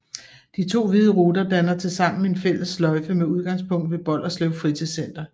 De to hvide ruter danner tilsammen en fælles sløjfe med udgangspunkt ved Bolderslev Fritidscenter